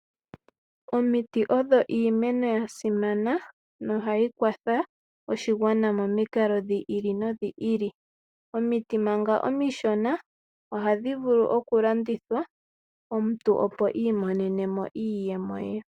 Omiti odho iimeno ya simana nohayi kwatha oshigwana momikalo dhi ili nodhi ili. Omiti manga omishona ohadhi vulu okulandithwa omuntu opo imonene mo iiyemo ye.